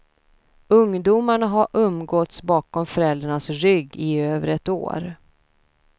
Ungdomarna har umgåtts bakom föräldrarnas rygg i över ett år.